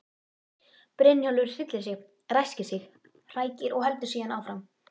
Brynjólfur hryllir sig, ræskir sig, hrækir og heldur síðan áfram.